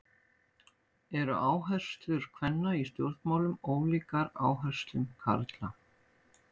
Eru áherslur kvenna í stjórnmálum ólíkar áherslum karla?